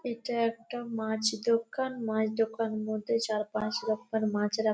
এটা একটা মাছ দোকান। মাছ দোকানের মধ্যে চার পাঁচ রকমের মাছ রাখা।